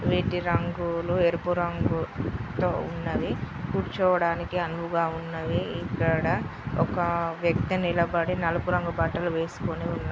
వీటి రంగులు ఎరుపు రంగుతో ఉన్నవి. కూర్చోవడానికి అనువుగా ఉన్నవి. ఇక్కడ ఒక వ్యక్తి నిలబడి నలుపు రంగు బట్టలు వేసుకొని ఉ.--